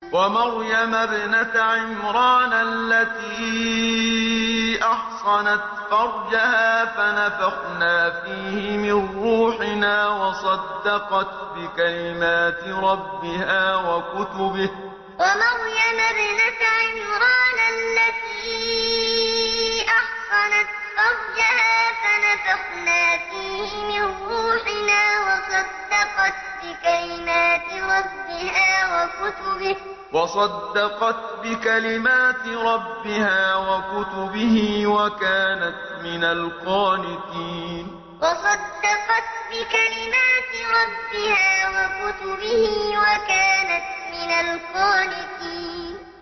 وَمَرْيَمَ ابْنَتَ عِمْرَانَ الَّتِي أَحْصَنَتْ فَرْجَهَا فَنَفَخْنَا فِيهِ مِن رُّوحِنَا وَصَدَّقَتْ بِكَلِمَاتِ رَبِّهَا وَكُتُبِهِ وَكَانَتْ مِنَ الْقَانِتِينَ وَمَرْيَمَ ابْنَتَ عِمْرَانَ الَّتِي أَحْصَنَتْ فَرْجَهَا فَنَفَخْنَا فِيهِ مِن رُّوحِنَا وَصَدَّقَتْ بِكَلِمَاتِ رَبِّهَا وَكُتُبِهِ وَكَانَتْ مِنَ الْقَانِتِينَ